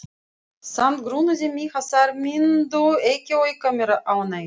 Samt grunaði mig að þær myndu ekki auka mér ánægju.